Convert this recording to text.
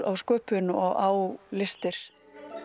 á sköpun og á listir